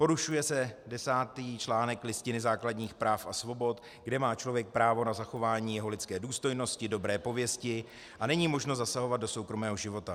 Porušuje se desátý článek Listiny základních práv a svobod, kde má člověk právo na zachování své lidské důstojnosti, dobré pověsti a není možno zasahovat do soukromého života.